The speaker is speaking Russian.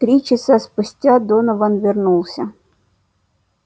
три часа спустя донован вернулся